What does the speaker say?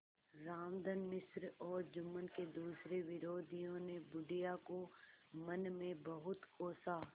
रामधन मिश्र और जुम्मन के दूसरे विरोधियों ने बुढ़िया को मन में बहुत कोसा